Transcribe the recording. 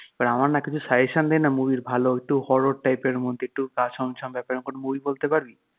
এবার আমার না কিছু suggestion দে না movie ভালো একটু horror type এর মধ্যে একটু গা ছম ছম ব্যাপার এরম কোনও বই বলতে পারবি?